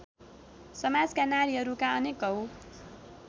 समाजका नारीहरूका अनेकौँ